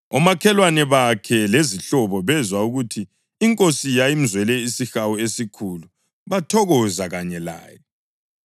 Omakhelwane bakhe lezihlobo bezwa ukuthi iNkosi yayimzwele isihawu esikhulu bathokoza kanye laye.